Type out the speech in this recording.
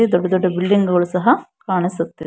ದೊಡ್ಡ ದೊಡ್ಡ ಬಿಲ್ಡಿಂಗ್ ಗಳು ಸಹ ಕಾಣಿಸುತ್ತ್--